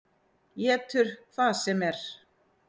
Étur hvað sem er.